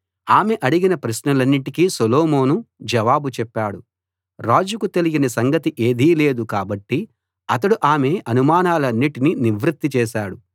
ఆమె అడిగిన ప్రశ్నలన్నిటికి సొలొమోను జవాబు చెప్పాడు రాజుకు తెలియని సంగతి ఏదీ లేదు కాబట్టి అతడు ఆమె అనుమానాలన్నిటినీ నివృత్తి చేశాడు